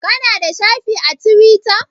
Ka na da shafi a Tiwita?